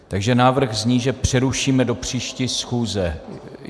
Takže návrh zní, že přerušíme do příští schůze.